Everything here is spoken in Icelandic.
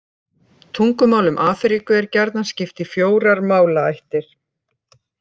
Tungumálum Afríku er gjarnan skipt í fjórar málaættir.